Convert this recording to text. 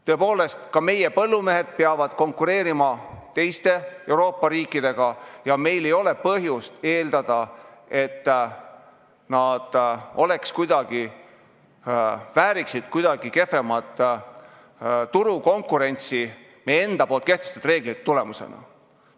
Tõepoolest, ka meie põllumehed peavad konkureerima teiste Euroopa riikidega ja meil ei ole põhjust eeldada, et nad vääriksid kuidagi kehvemat turukonkurentsi meie enda kehtestatud reeglite tulemusena.